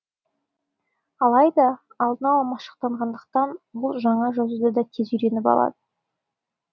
алайда алдын ала машықтанғандықтан ұл жаңа жазуды да тез үйреніп алады